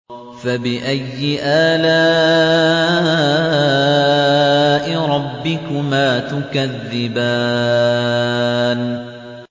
فَبِأَيِّ آلَاءِ رَبِّكُمَا تُكَذِّبَانِ